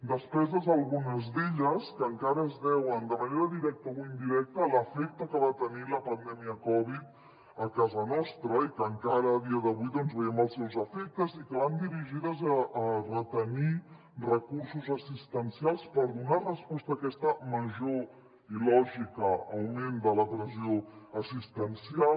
despeses algunes d’elles que encara es deuen de manera directa o indirecta a l’efecte que va tenir la pandèmia covid a casa nostra i que encara a dia d’avui doncs en veiem els seus efectes i que van dirigides a retenir recursos assistencials per donar resposta a aquest major i lògic augment de la pressió assistencial